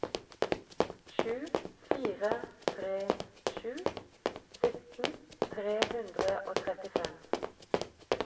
sju fire tre sju sytten tre hundre og trettifem